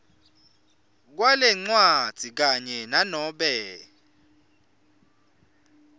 kwalencwadzi kanye nanobe